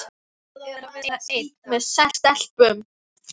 Og hvernig er að vera einn með sex stelpum?